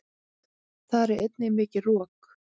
Þar er einnig mikið rok.